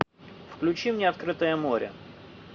включи мне открытое море